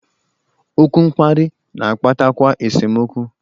Okwu mkparị na-akpatakwa esemokwu.